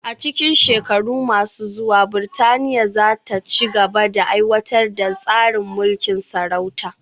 A cikin shekaru masu zuwa, Burtaniya za ta ci gaba da aiwatar da tsarin mulkin sarauta